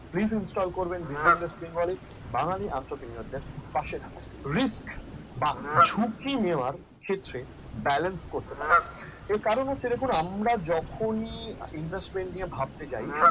please install করবেন buzyinvest bengali বাঙালি মানুষের পাশে থাকুক risk বা ঝুঁকি নেওয়ার ক্ষেত্রে balance করতে পারেন এর কারণ হচ্ছে দেখুন আমরা যখনই investment নিয়ে ভাবতে যায়